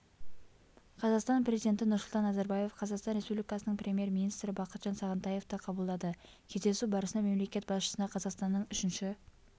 қазақстан президенті нұрсұлтан назарбаев қазақстан республикасының премьер-министрі бақытжан сағынтаевты қабылдады кездесу барысында мемлекет басшысына қазақстанның үшінші